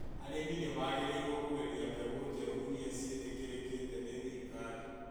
Arĩmi nĩ magĩrĩirũo kũgeria mbegũ njerũ iria ciĩtĩkĩrĩkĩte nĩ thirikari.